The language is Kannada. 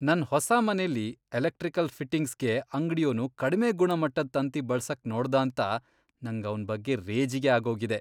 ನನ್ ಹೊಸ ಮನೆಲಿ ಎಲೆಕ್ಟ್ರಿಕಲ್ ಫಿಟ್ಟಿಂಗ್ಸ್ಗೆ ಅಂಗ್ಡಿಯೋನು ಕಡ್ಮೆ ಗುಣಮಟ್ಟದ್ ತಂತಿ ಬಳ್ಸಕ್ ನೋಡ್ದಾಂತ ನಂಗ್ ಅವ್ನ್ ಬಗ್ಗೆ ರೇಜಿಗೆ ಆಗೋಗಿದೆ.